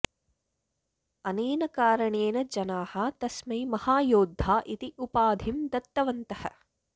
अनेन कारणेन जनाः तस्मै महायोद्धा इति उपाधिं दत्तवन्तः